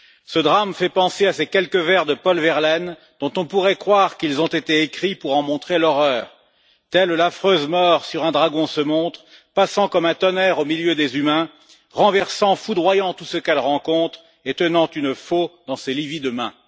Ce drame fait penser à ces quelques vers de Paul Verlaine dont on pourrait croire qu'ils ont été écrits pour en montrer l'horreur telle l'affreuse mort sur un dragon se montre, passant comme un tonnerre au milieu des humains, renversant, foudroyant, tout ce qu'elle rencontre, et tenant une faulx dans ses livides mains.